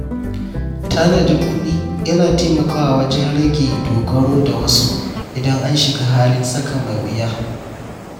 Tanadin kuɗi yana taimakawa wajen rage dogaro da wasu idan an shiga halin tsaka mai wuya.